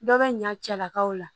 Dɔ bɛ ɲa cɛlakaw la